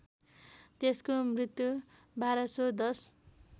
त्यसको मृत्यु १२१०